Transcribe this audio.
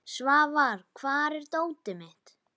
Svafar, hvar er dótið mitt?